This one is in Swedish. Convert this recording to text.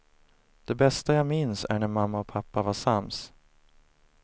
Det bästa jag minns är när mamma och pappa var sams.